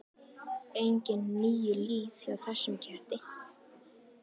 Engin níu líf hjá þessum ketti.